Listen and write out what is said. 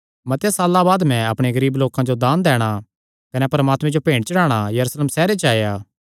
मतेआं साल्लां बाद मैं अपणे गरीब लोकां जो दान दैणा कने परमात्मे जो भेंट चढ़ाणा यरूशलेम सैहरे च आया था